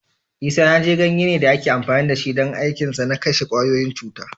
Isanaje ganye ne da ake amfani da shi don aikinsa na kashe kwayoyin cuta.